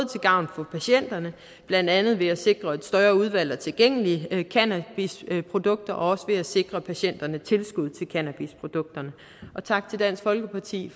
til gavn for patienterne blandt andet ved både at sikre et større udvalg af tilgængelige cannabisprodukter og ved at sikre patienterne tilskud til cannabisprodukterne tak til dansk folkeparti